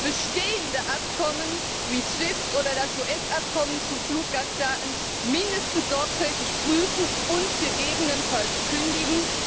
bestehende Abkommen wie SWIFT oder das US Abkommen zu Fluggastdaten zumindest sorgfältig prüfen und gegebenenfalls kündigen